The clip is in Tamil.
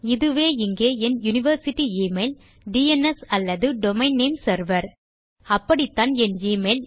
இதுவே இங்கே என் யூனிவர்சிட்டி எமெயில் டிஎன்எஸ் அல்லது டொமெயின் நேம் செர்வர் அப்படித்தான் என் எமெயில்